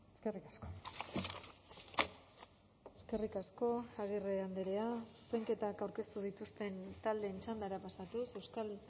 eskerrik asko eskerrik asko agirre andrea zuzenketak aurkeztu dituzten taldeen txandara pasatuz euskal